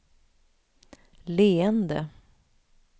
leende